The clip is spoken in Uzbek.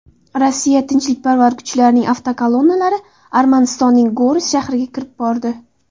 Rossiya tinchlikparvar kuchlarining avtokolonnalari Armanistonning Goris shahriga kirib bordi.